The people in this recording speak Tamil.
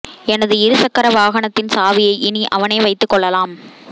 எனது இரு சக்கர வாகனத்தின் சாவியை இனி அவனே வைத்துக் கொள்ளலாம்